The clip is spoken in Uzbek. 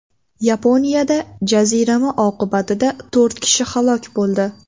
Yaponiyada jazirama oqibatida to‘rt kishi halok bo‘ldi.